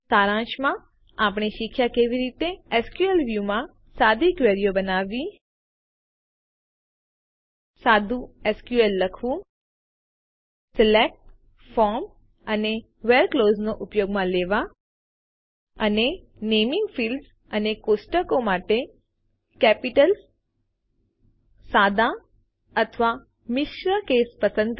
સારાંશમાં આપણે શીખ્યાં કે કેવી રીતે એસક્યુએલ વ્યૂ માં સાદી ક્વેરીઓ બનાવવી સાદું એસક્યુએલ લખવું સિલેક્ટ ફ્રોમ અને વ્હેરે ક્લાઉઝને ઉપયોગમાં લેવાં અને નેમીંગ ફીલ્ડ્સ અને કોષ્ટકો માટે કેપિટલસાદા અથવા મિશ્ર કેસો પસંદ કરવાં